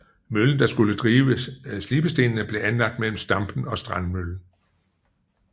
Møllen der skulle drive slibestenene blev anlagt mellem Stampen og Strandmøllen